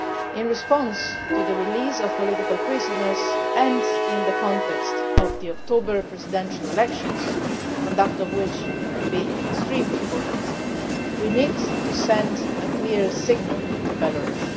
In response to the release of political prisoners and in the context of the October presidential elections the conduct of which will be extremely important we need to send a clear signal to Belarus.